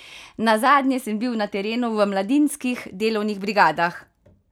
Nazadnje sem bil na terenu v mladinskih delovnih brigadah!